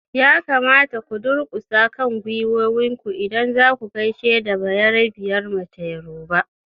Ya kamata ku durkusa kan gwiwoyinku idan zaku gaishe da bayerabiyar mace yoruba!